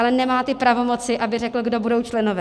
Ale nemá ty pravomoci, aby řekl, kdo budou členové.